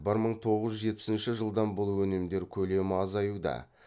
бір мың тоғыз жүз жетпісінші жылдан бұл өнімдер көлемі азаюда